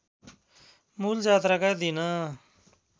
मूल जात्राका दिन